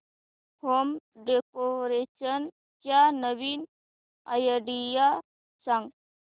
home decoration च्या नवीन idea सांग